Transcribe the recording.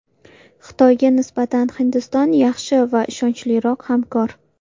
Xitoyga nisbatan Hindiston yaxshi va ishonchliroq hamkor.